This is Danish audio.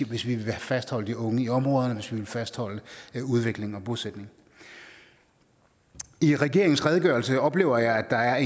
hvis vi vil fastholde de unge i områderne og hvis vi vil fastholde udvikling og bosætning i regeringens redegørelse oplever jeg at der er